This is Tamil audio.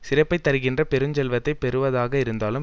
சிறப்பைத்தருகின்ற பெருஞ் செல்வத்தை பெறுவதாக இருந்தாலும்